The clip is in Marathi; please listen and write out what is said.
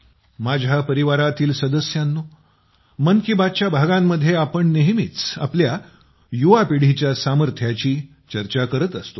माझ्या परिवारातील सदस्यांनो मन की बातच्या भागांमध्ये आपण नेहमीच आपल्या युवा पिढीच्या सामर्थ्याची चर्चा करत असतो